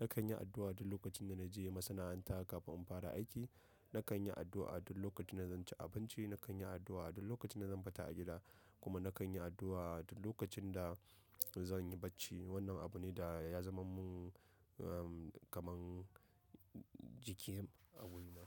Nakan yi addu'a duk lokacin da na je masana'anta kafin in fara aiki. Nakan yi addu'a duk lokacin da zan ci abinci. Nakan yi addu'a a duk lokacin da zan fita a gida kuma nakan yi addu'a duk lokacin da, da zan yi bacci. Wannan abu ne da ya zama mun kamar jiki a wurina.